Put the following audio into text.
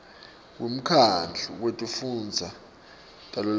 wemkhandlu wetifundza tavelonkhe